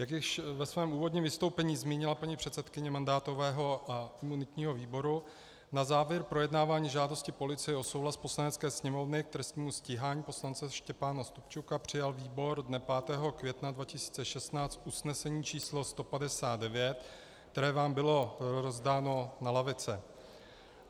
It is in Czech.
Jak již ve svém úvodním vystoupení zmínila paní předsedkyně mandátového a imunitního výboru, na závěr projednávání žádosti policie o souhlas Poslanecké sněmovny k trestnímu stíhání poslance Štěpána Stupčuka přijal výbor dne 5. května 2016 usnesení číslo 159, které vám bylo rozdáno na lavice.